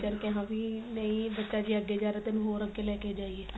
teacher ਕਿਹਾ ਵੀ ਨਹੀਂ ਬੱਚਾ ਜੇ ਅਗੇ ਜਾ ਰਿਹਾ ਤੇ ਤੇਨੂੰ ਹੋਰ ਅਗੇ ਲੈ ਕੇ ਜਾਈਏ ਤਾਂ